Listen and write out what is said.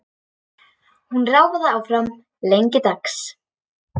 Hún ráfaði áfram lengi dags.